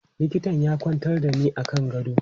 Likitan ya kwantar da ni a kan gado.